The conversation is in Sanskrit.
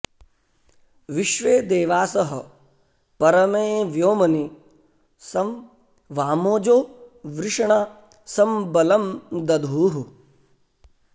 विश्वे देवासः परमे व्योमनि सं वामोजो वृषणा सं बलं दधुः